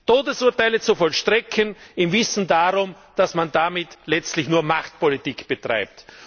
Todesurteile zu vollstrecken im Wissen darum, dass man damit letztlich nur Machtpolitik betreibt.